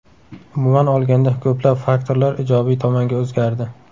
Umuman olganda ko‘plab faktorlar ijobiy tomonga o‘zgardi.